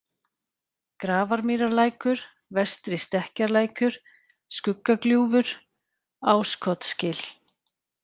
Grafarmýrarlækur, Vestri-Stekkjarlækur, Skuggagljúfur, Áskotsgil